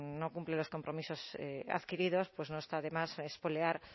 no cumple los compromisos adquiridos pues no está de más espolear